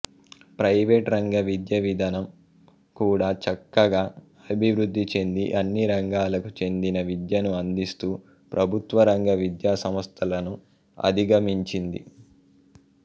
private రంగ విద్యావిధనం కూడా చక్కగా అభివృద్ధి చెంది అన్ని రంగాలకు చెందిన విద్యను అందిస్తూ ప్రభుత్వరంగ విద్యాసంస్థలను అధిగమించింది